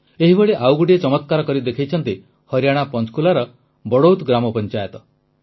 ଏହିଭଳି ଆଉ ଗୋଟିଏ ଚମତ୍କାର କରି ଦେଖାଇଛନ୍ତି ହରିୟାଣା ପଂଚକୁଲାର ବଡ଼ୌତ୍ ଗ୍ରାମପଂଚାୟତ